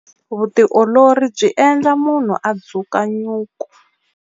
Vutiolori byi endla munhu a dzuka nyuku.